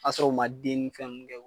Ka sɔrɔ u ma den ni fɛn nunnu kɛ